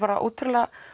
ótrúlega